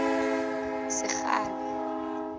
sekgalo